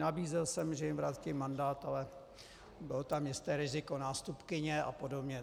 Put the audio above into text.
Nabízel jsem, že jim vrátím mandát, ale bylo tam jisté riziko nástupkyně a podobně.